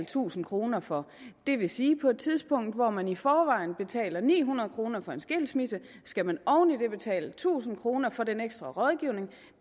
tusind kroner for det vil sige at på et tidspunkt hvor man i forvejen betaler ni hundrede kroner for en skilsmisse skal man oven i det betale tusind kroner for den ekstra rådgivning